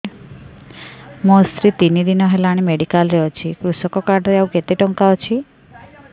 ମୋ ସ୍ତ୍ରୀ ତିନି ଦିନ ହେଲାଣି ମେଡିକାଲ ରେ ଅଛି କୃଷକ କାର୍ଡ ରେ ଆଉ କେତେ ଟଙ୍କା ଅଛି